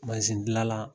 Mansindilanla